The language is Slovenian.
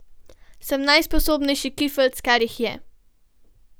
Sem najsposobnejši kifeljc, kar jih je.